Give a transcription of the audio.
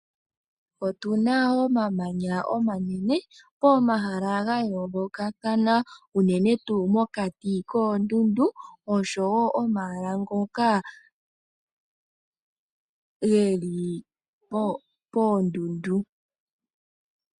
Otu na omamanya omanene pomahala ga yoolokathana unene tuu mokati koondundu osho wo omahala ngoka ge li poondundu.